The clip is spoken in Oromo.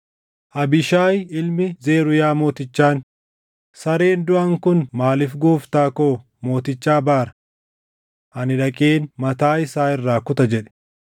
Mootichi garuu akkana jedhe; “Yaa ilmaan Zeruuyaa, anii fi isin maal wal irraa qabna? Yoo inni sababii Waaqayyo, ‘Ati Daawitin abaari’ isaan jedheef na abaare eenyutu, ‘Ati maaliif waan kana goota?’ jedhee isa gaafachuu dandaʼa?”